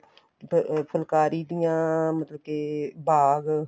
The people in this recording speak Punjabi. ਫੁਲਕਾਰੀ ਦੀਆ ਮਤਲਬ ਕੇ ਬਾਗ